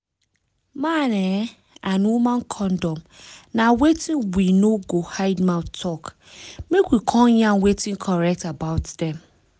man ehnn and woman condom na wetin we no go hide mouth talk make we come yarn wetin correct about am